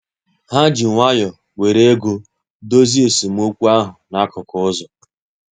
Ha ji nwayọ were ego dozie esemokwu ahụ n'akụkụ ụzọ